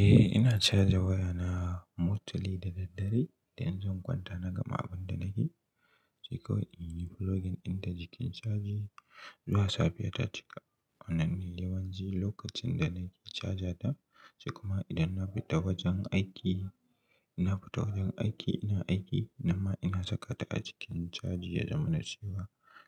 Eh ina caja waya na mostly da daddare idan zan kwanta na gama abun da nake sai kawai in yi pluging ɗinta jikin caji zuwa safe ta cika. Wannan ne yawanci lokacin da nake caja ta sai kuma idan na fita wajen aiki, in na fita wajen aiki ina aiki, nan ma ina saka ta a jikin caji ya zama na cewa